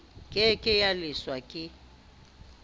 ke ke ya leshwa ke